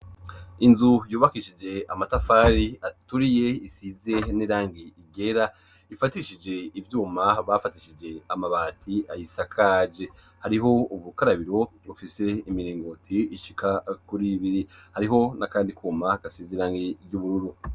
Inzu yubakishije amatafari aturiye, isize n'irangi igera ifatishije ibyuma bafatishije amabati ahisakaje. Hariho ubukarabiro bufise imirengoti ishika kuri biri hariho n'akandi kuma gasizirani ry'ubururu.